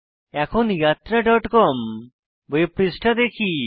এখন yatraকম ওয়েব পৃষ্ঠা দেখি